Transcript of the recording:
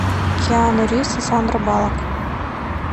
киану ривз и сандра баллок